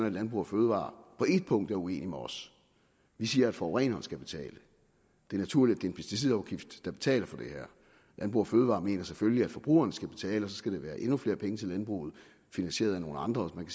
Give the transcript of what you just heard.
at landbrug fødevarer på et punkt er uenig med os vi siger at forureneren skal betale det er naturligt at en pesticidafgift der betaler for det her landbrug fødevarer mener selvfølgelig at forbrugeren skal betale og så skal der være endnu flere penge til landbruget finansieret af nogle andre man